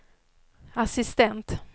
assistent